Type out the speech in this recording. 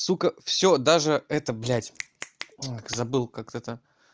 сука всё даже это блядь забыл как это